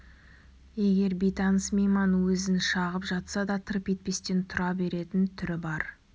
егер бейтаныс мейман өзін шағып жатса да тырп етпестен тұра беретін түрі бар